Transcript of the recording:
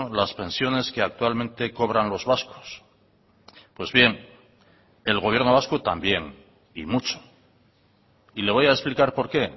las pensiones que actualmente cobran los vascos pues bien el gobierno vasco también y mucho y le voy a explicar por qué